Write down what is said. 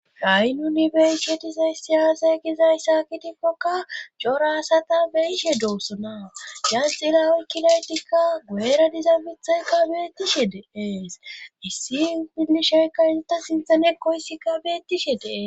rayilunibeyshetizay siyaasay gizay saakitikkokka corasata beyishe doossona gan xilawoykkilaydikka gueera diza mithaykka beettishe deees issi billishaykka izata sinthanekoysikka beettishe dee